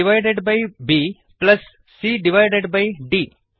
a divided by b plus c divided by the